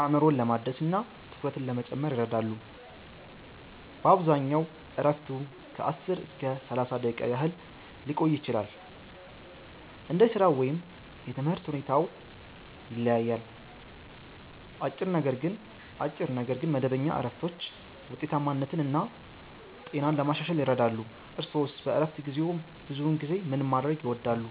አእምሮን ለማደስ እና ትኩረትን ለመጨመር ይረዳሉ። በአብዛኛው እረፍቱ ከ10 እስከ 30 ደቂቃ ያህል ሊቆይ ይችላል፣ እንደ ሥራው ወይም የትምህርት ሁኔታው ይለያያል። አጭር ነገር ግን መደበኛ እረፍቶች ውጤታማነትን እና ጤናን ለማሻሻል ይረዳሉ። እርስዎስ በእረፍት ጊዜዎ ብዙውን ጊዜ ምን ማድረግ ይወዳሉ?